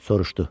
Sorşdu: